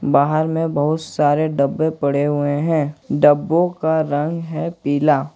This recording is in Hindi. बाहर में बहुत सारे डब्बे पड़े हुए हैं डब्बों का रंग है पीला।